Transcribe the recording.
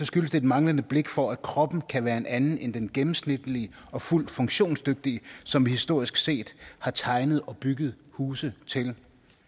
skyldes det et manglende blik for at kroppen kan være en anden end den gennemsnitlige og fuldt funktionsdygtige som vi historisk set har tegnet og bygget huse til